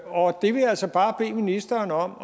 altså bare bede ministeren om